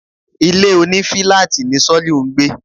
Ilé òní filaati ni Soliu ń gbé